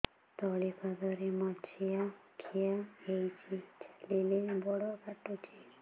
ତଳିପାଦରେ ମାଛିଆ ଖିଆ ହେଇଚି ଚାଲିଲେ ବଡ଼ କାଟୁଚି